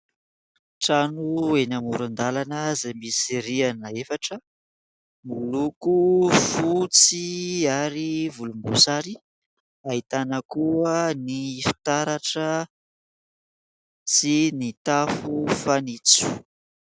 Trano eny amoran-dalana izay misy rihana efatra miloko fotsy ary volomboasary, ahitana koa ny fitaratra sy ny tafo fanitso.